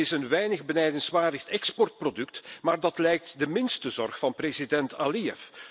Dat is een weinig benijdenswaardig exportproduct, maar dat lijkt de minste zorg van president Aliyev.